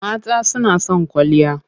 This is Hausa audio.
Mata suna son kwalliya.